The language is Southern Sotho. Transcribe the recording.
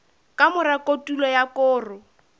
ka mora kotulo ya koro